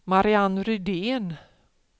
Marianne Rydén